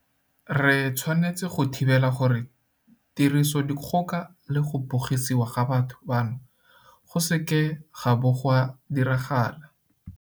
Re tshwanetse go thibela gore tirisodikgoka le go bogisiwa ga batho bano go seke ga bo ga diragala.